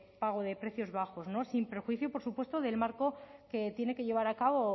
pago de precios bajos no sin perjuicio por supuesto del marco que tiene que llevar a cabo